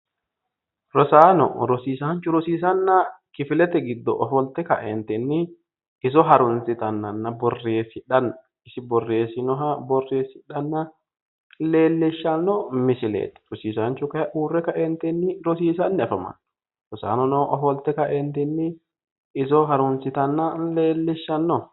Rosaano rosiisanchu rosiisanna rosaanono borreesidhanni iso harunsittanni nootta leelishano